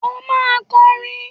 O máa kọrin!